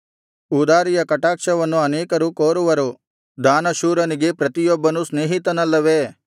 ಉದಾರಿಯ ಕಟಾಕ್ಷವನ್ನು ಅನೇಕರು ಕೋರುವರು ದಾನಶೂರನಿಗೆ ಪ್ರತಿಯೊಬ್ಬನೂ ಸ್ನೇಹಿತನಲ್ಲವೇ